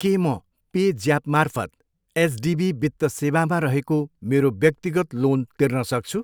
के म पे ज्यापमार्फत एचडिबी वित्त सेवामा रहेको मेरो व्यक्तिगत लोन तिर्न सक्छु?